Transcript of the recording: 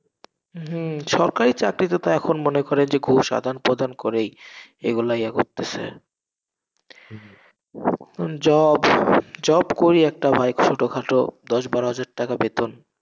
হম সবাই চাকরিতে তো এখন মনে করে যে ঘুষ আদান প্রদান করেই, এগুলাই এরা করতেসে job, job করি একটা ভাই, ছোটখাটো দশ বারো হাজার টাকা বেতন।